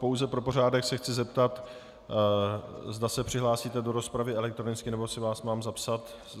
Pouze pro pořádek se chci zeptat, zda se přihlásíte do rozpravy elektronicky, nebo si vás mám zapsat.